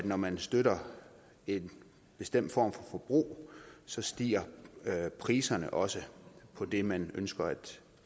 når man støtter en bestemt form for forbrug så stiger priserne også på det man ønsker at